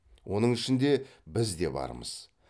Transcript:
оның ішінде біз де бармыз